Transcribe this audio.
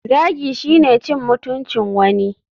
Zagi shine cin mutuncin wani.